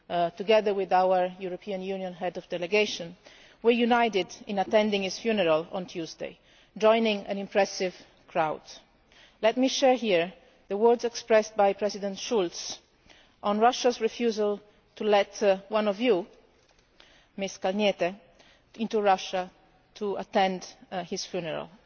together with our European Union Head of delegation, were united in attending his funeral on Tuesday, joining an impressive crowd. Let me share here the words expressed by President Schulz on Russia's refusal to let one of you, Ms Kalniete, into Russia to attend his funeral.